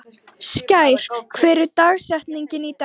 Skær, hver er dagsetningin í dag?